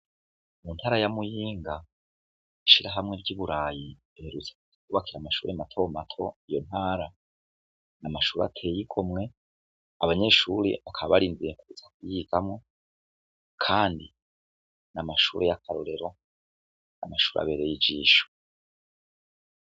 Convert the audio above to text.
Mu ntara ya Muyinga ishirahamwe ry' iburayi riherutse kwubakira amashure mato mato iyo ntara amashure ateye igomwe abanyeshure bakaba barindiriye kuza kuyigamwo kandi ni amashure y' akarorero, amashure abereye ijisho.